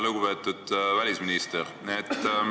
Lugupeetud välisminister!